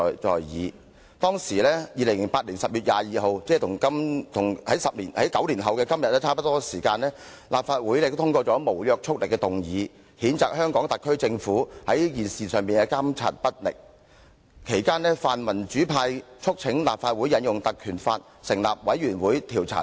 在2008年10月22日，和9年後的今天差不多時間，立法會通過了無約束力的議案，譴責香港特區政府在這事件上監察不力，其間泛民主派促請立法會引用《立法會條例》成立委員會調查事件......